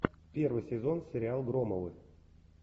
первый сезон сериал громовы